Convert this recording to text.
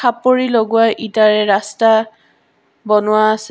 খাপৰী লগোৱা ইটাৰে ৰাস্তা বনোৱা আছে।